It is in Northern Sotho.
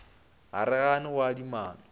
ga re gane go adimana